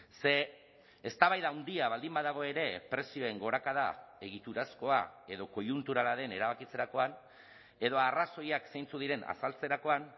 ze eztabaida handia baldin badago ere prezioen gorakada egiturazkoa edo koiunturalaren erabakitzerakoan edo arrazoiak zeintzuk diren azaltzerakoan